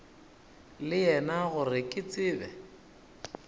le yena gore ke tsebe